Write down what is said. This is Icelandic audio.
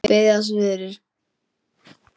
Biðjast fyrir?